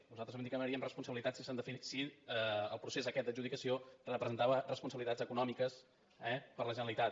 nosaltres vam dir que demanaríem responsabilitats si el procés aquest d’adjudicació representava responsabilitats econòmiques eh per a la generalitat